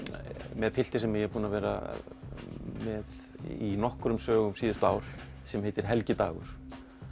með pilti sem ég er búinn að vera með í nokkrum sögum síðustu ár sem heitir Helgi Dagur